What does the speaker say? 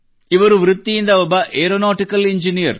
ಇವರು ವೃತ್ತಿಯಿಂದ ಒಬ್ಬ ಏರೋನಾಟಿಕಲ್ ಎಂಜಿನಿಯರ್